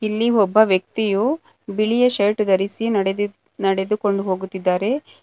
ಇಲ್ಲಿ ಒಬ್ಬ ವ್ಯಕ್ತಿಯು ಬಿಳಿಯ ಶರ್ಟ್ ಧರಿಸಿ ನಡೆದಿ ನಡೆದುಕೊಂಡು ಹೋಗುತ್ತಿದ್ದಾರೆ.